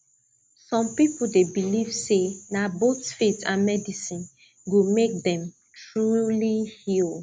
some people dey believe say na both faith and medicine go make dem truly heal